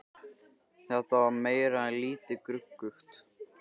Þetta var meira en lítið gruggugt.